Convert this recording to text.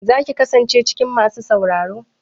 Za ki kasance cikin masu sauraro?